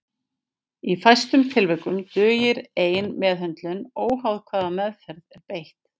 Í fæstum tilvikum dugir ein meðhöndlun óháð hvaða meðferð er beitt.